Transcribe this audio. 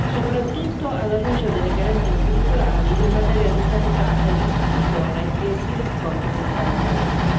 soprattutto alla luce delle carenze strutturali in materia di sanità ed istruzione che si riscontrano in tali paesi.